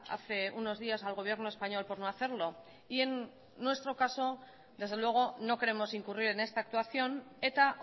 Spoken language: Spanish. hace unos días al gobierno español por no hacerlo y en nuestro caso desde luego no queremos incurrir en esta actuación eta